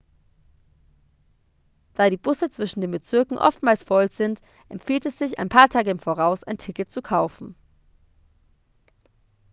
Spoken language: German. da die busse zwischen den bezirken oftmals voll sind empfiehlt es sich ein paar tage im voraus ein ticket zu kaufen